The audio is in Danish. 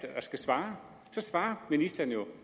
svare svarer ministeren